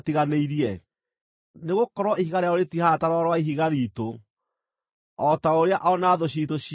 Nĩ gũkorwo ihiga rĩao rĩtihaana ta Rwaro rwa Ihiga riitũ, o ta ũrĩa o na thũ ciitũ ciũĩ.